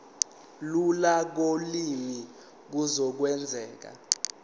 lula kolimi kuzokwenzeka